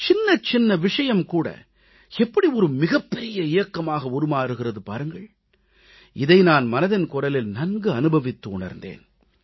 சின்ன சின்ன விஷயம் கூட எப்படி மிகப் பெரிய இயக்கமாக உருமாறுகிறது பாருங்கள் இதை நான் மனதின் குரலில் நன்கு அனுபவித்து உணர்ந்தேன்